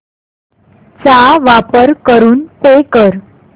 चा वापर करून पे कर